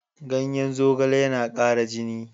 Ganyen zogale yana ƙara jini.